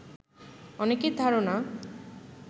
অনেকের ধারণা